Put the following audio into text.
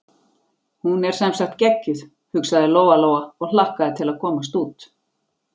Hún er sem sagt geggjuð, hugsaði Lóa-Lóa og hlakkaði til að komast út.